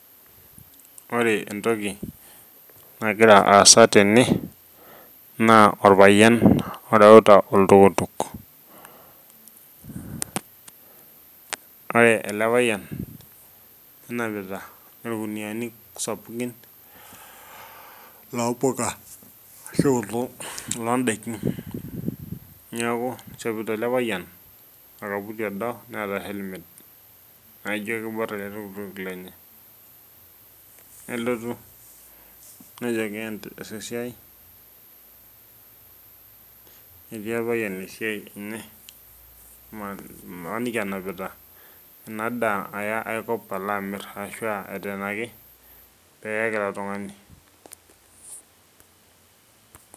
Ore entoki nagira aasa tene naa orpayian oreuta oltuktuk. Ore ele payian nenapita irkuniani sapukin loo mpuka arahu loondaikin. Niaku nishopito ele payian orkaputi odo neeta helmet naijo kibor ele tuktuk lenye. Nelotu nejo keas esiai, etii orpayian esiai enye mmaniki enapita ena daa aya ae kop alo amir ashuaa eteenaki peeyaki oltungani.